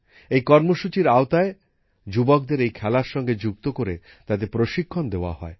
এই কর্মসূচির আওতায় যুবকদের এই খেলার সঙ্গে যুক্ত করে তাদের প্রশিক্ষণ দেওয়া হয়